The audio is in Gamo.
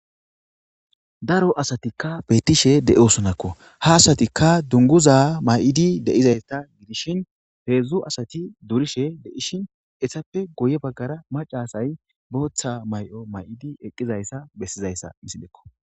daro asatikka beettishe de7osonakko ha asatikka dunguza may7idi de7izayta gidishin heedzdzu asati durishe deishin essappe goye baggara macasay booththa may7o may7idi eqqizayssa bessizayssa misilekko